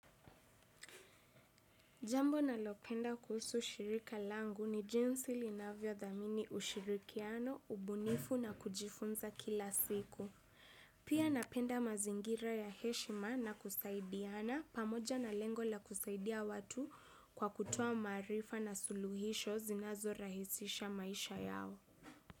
Jambo nalopenda kuhusu ushirika langu ni jinsi linavyo dhamini ushirikiano, ubunifu na kujifunza kila siku. Pia napenda mazingira ya heshima na kusaidiana pamoja na lengo la kusaidia watu kwa kutoa maarifa na suluhisho zinazo rahisisha maisha yao.